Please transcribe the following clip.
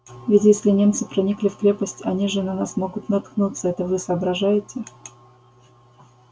ведь если немцы проникли в крепость они же на нас могут наткнуться это вы соображаете